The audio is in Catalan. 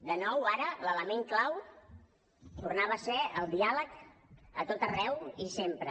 de nou ara l’element clau tornava a ser el diàleg a tot arreu i sempre